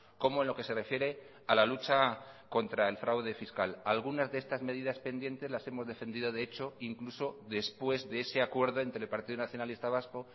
como en lo que se refiere a la lucha contra el fraude fiscal algunas de estas medidas pendientes las hemos defendido de hecho incluso después de ese acuerdo entre el partido nacionalista vasco